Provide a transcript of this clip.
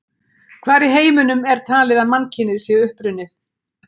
Hvar í heiminum er talið að mannkynið sé upprunnið?